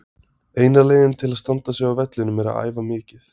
Eina leiðin til að standa sig á vellinum er að æfa mikið.